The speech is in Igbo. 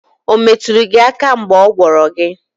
Ometulu gi aka mgeb ogworo gi?